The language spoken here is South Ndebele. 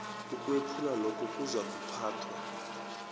ukwephulwa lokho kuzakuphathwa